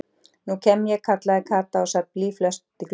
Nú kem ég kallaði Kata og sat blýföst í glugganum.